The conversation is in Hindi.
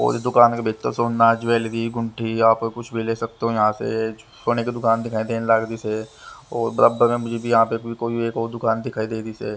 और दुकान के भीतर सोना ज्वेलरी गुंठी आप कुछ भी ले सकते हो यहाँ से सोने की दुकान दिखाई देन लाग रही से बराबर में मुझे भी यहाँ पे कोई एक और दुकान दिखाई दे रही से--